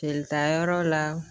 Jelitayɔrɔ la